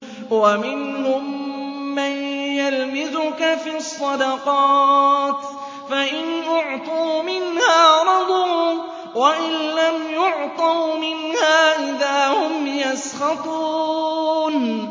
وَمِنْهُم مَّن يَلْمِزُكَ فِي الصَّدَقَاتِ فَإِنْ أُعْطُوا مِنْهَا رَضُوا وَإِن لَّمْ يُعْطَوْا مِنْهَا إِذَا هُمْ يَسْخَطُونَ